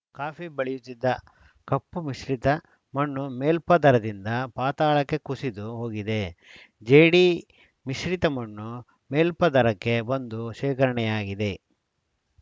coffee ಬಳೆಯುತ್ತಿದ್ದ ಕಪ್ಪು ಮಿಶ್ರಿತ ಮಣ್ಣು ಮೇಲ್ಪದರದಿಂದ ಪಾತಾಳಕ್ಕೆ ಕುಸಿದು ಹೋಗಿದೆ ಜೇಡಿ ಮಿಶ್ರಿತ ಮಣ್ಣು ಮೇಲ್ಪದರಕ್ಕೆ ಬಂದು ಶೇಖರಣೆಯಾಗಿದೆ